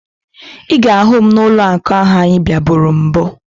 Ị ga-ahụ m n'ụlọakụ ahụ anyị bịaburu na mbụ